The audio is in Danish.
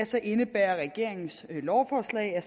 så indebærer regeringens lovforslag at